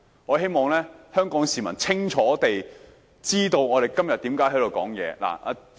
我希望香港市民清楚知道我們今天發言的原因。